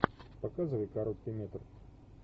показывай короткий метр